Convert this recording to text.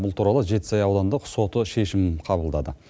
бұл туралы жетісай аудандық соты шешім қабылдады